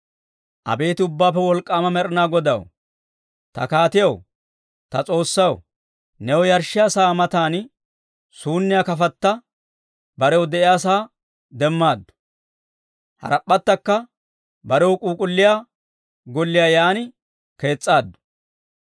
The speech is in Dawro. Abeet Ubbaappe Wolk'k'aama Med'inaa Godaw, ta kaatiyaw, ta S'oossaw, new yarshshiyaa sa'aa matan, suunniyaa kafatta barew de'iyaasaa demmaaddu. Harap'p'attakka barew k'uuk'k'ulliyaa golliyaa yaan kees's'aaddu.